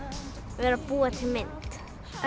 vera að búa til mynd